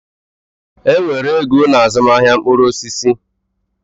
Enwere ego na azụmaahịa mkpụrụ osisi.